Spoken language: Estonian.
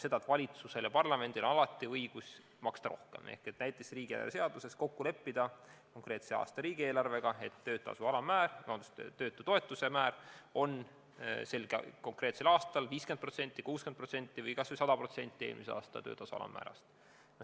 Valitsusel ja parlamendil on alati õigus maksta rohkem, näiteks konkreetse aasta riigieelarve seaduses kokku leppida, et töötutoetuse määr on sel konkreetsel aastal 50%, 60% või kas või 100% eelmise aasta töötasu alammäärast.